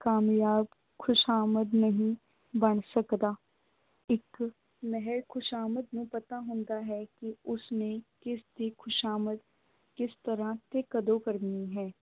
ਕਾਮਯਾਬ ਖ਼ੁਸ਼ਾਮਦ ਨਹੀਂ ਬਣ ਸਕਦਾ, ਇੱਕ ਮਹਿਜ ਖ਼ੁਸ਼ਾਮਦ ਨੂੰ ਪਤਾ ਹੁੰਦਾ ਹੈ ਕਿ ਉਸਨੇ ਕਿਸ ਦੀ ਖ਼ੁਸ਼ਾਮਦ ਕਿਸ ਤਰ੍ਹਾਂ ਤੇ ਕਦੋਂ ਕਰਨੀ ਹੈ,